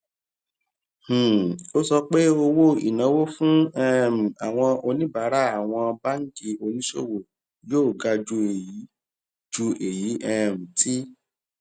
um ó sọ pé owó ìnáwó fún um àwọn oníbàárà àwọn báńkì oníṣòwò yóò ga ju èyí ju èyí um tí